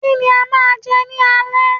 Kí ni a máa jẹ ní alẹ́